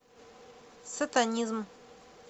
сатанизм